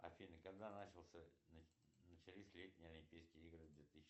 афина когда начался начались летние олимпийские игры две тысячи